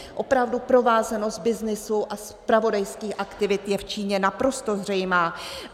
Opravdu provázanost byznysu a zpravodajských aktivit je v Číně naprosto zřejmá.